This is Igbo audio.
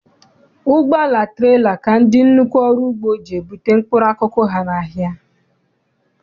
Ụgbọala trela ka ndị nnukwu ọrụugbo ji ebute mkpụrụ akụkụ ha n'ahịa.